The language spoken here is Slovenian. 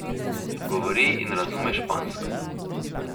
Govori in razume špansko.